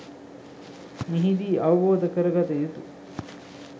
මෙහිදී අවබෝධ කරගත යුතු